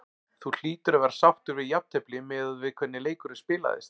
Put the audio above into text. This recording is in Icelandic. Þú hlýtur að vera sáttur við jafntefli miðað við hvernig leikurinn spilaðist?